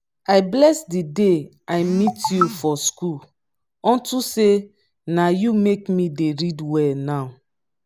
i bless the day i meet you for school unto say na you make me dey read well now